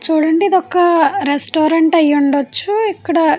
చూడండి ఒక రెస్టారెంట్ అయి ఉండొచ్చు. ఇక్కడ ఇద్దరు వ్యక్తులు అయితే --